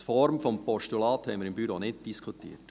Die Form des Postulats haben wir im Büro nicht diskutiert.